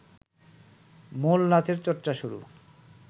মূল নাচের চর্চা শুরু